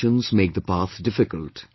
Expectations make the path difficult